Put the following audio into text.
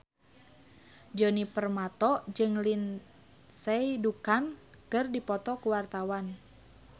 Djoni Permato jeung Lindsay Ducan keur dipoto ku wartawan